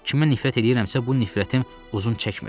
Kimə nifrət eləyirəmsə, bu nifrətim uzun çəkmir.